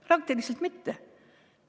Praktiliselt üldse mitte.